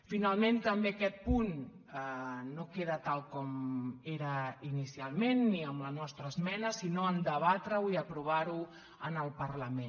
finalment també aquest punt no queda tal com era inicialment ni amb la nostra esmena sinó a debatreho i aprovarho en el parlament